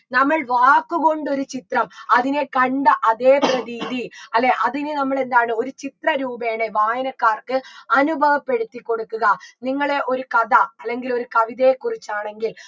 നമ്മൾ വാക്കുകൊണ്ട് ഒരു ചിത്രം അതിനെ കണ്ട അതേ പ്രതീതി അല്ലെ അതിന് നമ്മളെന്താണ് ഒരു ചിത്രരൂപേണ വായനക്കാർക്ക് അനുഭവപ്പെടുത്തി കൊടുക്കുക നിങ്ങള് ഒരു കഥ അല്ലെങ്കിൽ ഒരു കവിതയെക്കുറിച്ചാണെങ്കിൽ